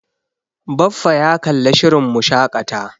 Baffa ya kalla shirin Mu shaƙata.